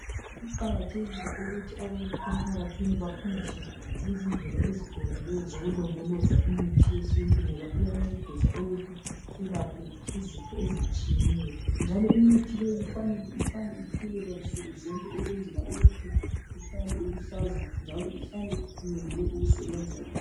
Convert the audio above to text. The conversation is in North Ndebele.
Kuqakathekile ukuthi abantu emphakathini bafundiswe ngezindlela eziqondileyo zokulondoloza imithi yesintu ngoba iyancedisa ukuthi selaphe izifo ezitshiyeneyo njalo imithi leyi kufanele ihlale ithelelwa nsuku zonke ukwenzela ukuthi ihlale iluhlaza njalo ihlale imelele ukusebenza njalo